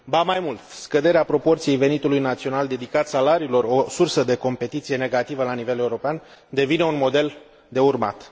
Ba mai mult, scăderea proporției venitului național dedicat salariilor, o sursă de competiție negativă la nivel european, devine un model de urmat.